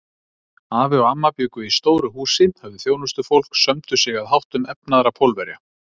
Afi og amma bjuggu í stóru húsi, höfðu þjónustufólk, sömdu sig að háttum efnaðra Pólverja.